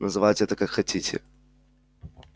называйте это как хотите